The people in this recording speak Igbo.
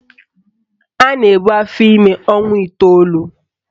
A na-ebu afọime ọnwa iteolu